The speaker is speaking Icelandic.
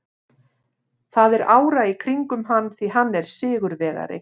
Það er ára í kringum hann því hann er sigurvegari.